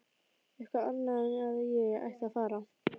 Eitthvað annað en að ég ætti að fara.